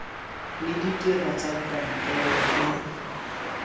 le ditiro tsa kantoro e